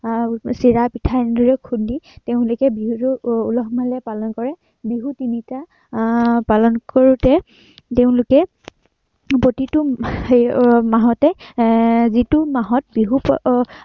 আৰু চিৰা, পিঠা এনেদৰে খুন্দি তেওঁলোকে বিহুতো আহ উলহ-মালহেৰে পালন কৰে। বিহু তিনিটা আহ পালন কৰোতে, তেওঁলোকে প্ৰতিটো মাহতে আহ যিটো মাহত বিহু এৰ